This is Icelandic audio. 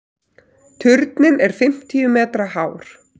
Turninn er fimmtíu metra hár.